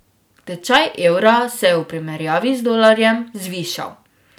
Tečaj evra se je v primerjavi z dolarjem zvišal.